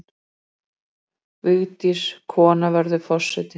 Vigdís- Kona verður forseti.